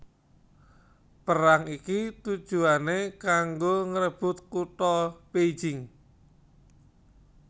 Perang iki tujuwané kanggo ngrebut kutha Beijing